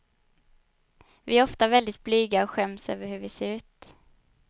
Vi är ofta väldigt blyga och skäms över hur vi ser ut.